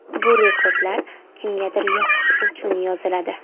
Bu rekordlar kimgadir yoqish uchun yoziladi.